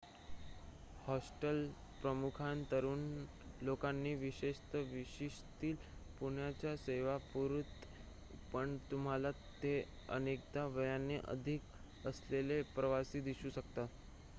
hostel प्रामुख्याने तरुण लोकांना विशेषतः विशीतील पाहुण्यांना सेवा पुरवते पण तुम्हाला तिथे अनेकदा वयाने अधिक असलेले प्रवासी दिसू शकतात